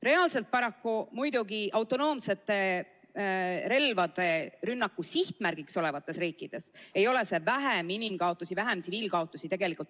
Reaalselt paraku autonoomsete relvade rünnaku sihtmärgiks olevates riikides ei ole see tähendanud vähem inimkaotusi, vähem tsiviilkaotusi.